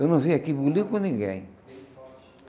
Eu não vim aqui bulir com ninguém.